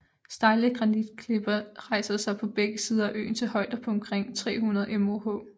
Stejle granitklipper rejser sig på begge sider af søen til højder på omkring 300 moh